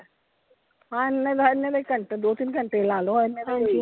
ਹਾਂ ਏਨੇ ਦਾ ਏਨੇ ਦਾ ਹੀ ਘੰਟੇ ਦੋ ਤਿੰਨ ਘੰਟੇ ਲਾਲੋ ਏਨੇ ਦਾ ਹੀ ਹੈਗਾ।